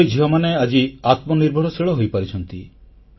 ଆମର ଏହି ଝିଅମାନେ ଆଜି ଆତ୍ମନିର୍ଭରଶୀଳ ହୋଇପାରିଛନ୍ତି